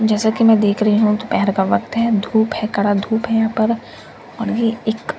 जैसा कि मैं देख रही हूं दोपहेर का वक्त है धूप है करा धूप है यहां पर और ये एक --